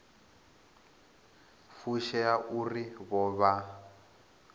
fushea uri vho vha vha